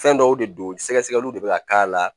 Fɛn dɔw de don sɛgɛgɛsɛgɛli de bɛ ka k'a la